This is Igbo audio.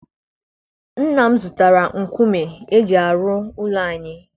Nna m zụtara nkume eji arụ ụlọ anyị.